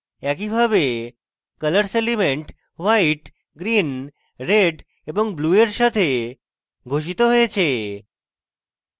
একইভাবে colors elements white green red এবং blue এর সাথে ঘোষিত হয়েছে